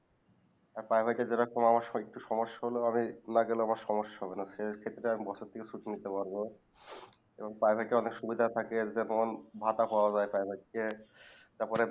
আর Private যারা যেরকম আমার সময় আমার একটু সমস্যা হলে না গেলে ও সমস্যা হবে না সে ক্ষেত্রে বসতিও সুখ নিতে পারবো এবং Private টা অনেক সুবিধা থাকে যেমন ভাতা পাওয়া যাই private থেকে